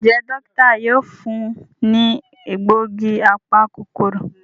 Njé Dókítà yóò fún ní egbògi apa-kòkòrò.